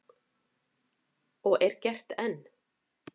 Og er gert enn.